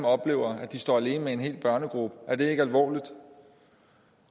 oplever at de står alene med en hel børnegruppe er det ikke alvorligt